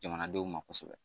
Jamanadenw ma kosɛbɛ